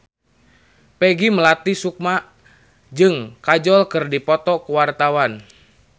Peggy Melati Sukma jeung Kajol keur dipoto ku wartawan